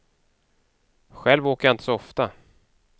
Själv åker jag inte så ofta.